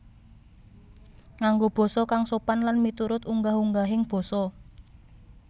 Nganggo basa kang sopan lan miturut unggah ungguhing basa